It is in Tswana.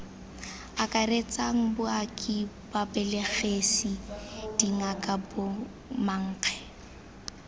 akaretsang baoki babelegisi dingaka bomankge